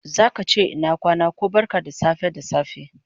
Zaka che ina kwana ko barka da safe da safe